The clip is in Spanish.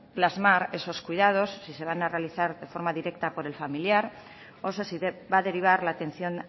plasmar esos cuidados si se van a realizar de forma directa por el familiar o si se va a derivar la atención